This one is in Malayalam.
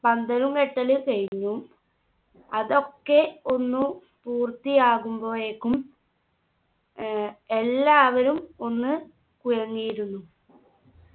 പന്തലും കെട്ടൽ കഴിഞ്ഞു അതൊക്കെ ഒന്നു പൂർത്തിയാകുമ്പോഴേക്കും ഏർ എല്ലാവരും ഒന്ന് കുഴങ്ങിയിരുന്നു